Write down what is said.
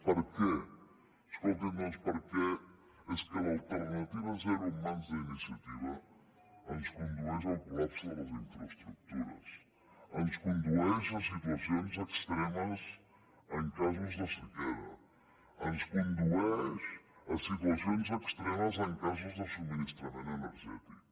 per què escolti’m doncs perquè és que l’alternativa zero en mans d’iniciativa ens condueix al col·lapse de les infraestructures ens condueix a situacions extremes en casos de sequera ens condueix a situacions extremes en casos de subministrament energètic